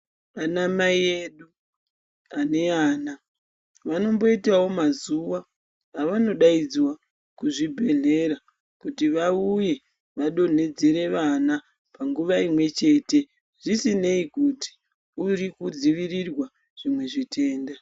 Ana mai edu ane ana vanomboitawo mazuwa avanodaidzwa kuzvibhedhlera kuti vauye vadonhedzere vana panguwa imwe chete zvisinei kuti uri kudzivirirwa zvimwe zvitenda.